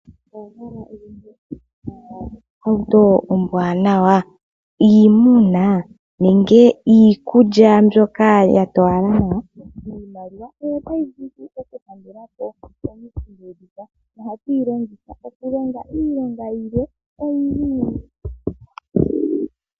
Owa hala oku ilandela ohauto ombwanawa, iimuna nenge iikulya mbyoka ya towala nawa? Iimaliwa oyo tayi vulu oku kulandela iinima mbyoka, nohatu yi longitha oku longa iilonga oyindji.